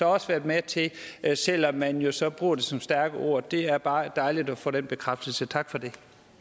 også været med til selv om man jo så bruger det som stærke ord det er bare dejligt at få den bekræftelse tak for det